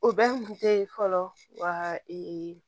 O bɛɛ kun te ye fɔlɔ wa ee